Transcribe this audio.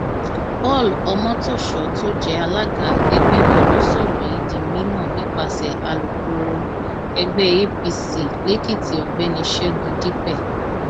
paul omotoso tó jẹ alága ẹgbẹ náà ló sọrọ yìí di mímọ nípasẹ alūkkoro ẹgbẹ apc lèkìtì ọgbẹni ṣẹgun dípẹ